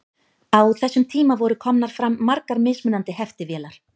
á þessum tíma voru komnar fram margar mismunandi heftivélar